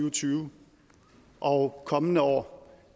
og tyve og kommende år